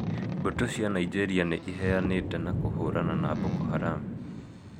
Mbũtũ cia Nĩgerĩa nĩ ĩheanĩte na kũhũrana na Boko Haram .